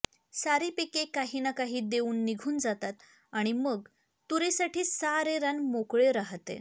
सारी पिके काही ना काही देऊन निघून जातात आणि मग तुरीसाठी सारे रान मोकळे रहाते